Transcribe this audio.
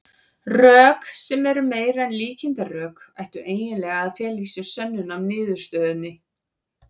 Rök, sem eru meira en líkindarök, ættu eiginlega að fela í sér sönnun á niðurstöðunni.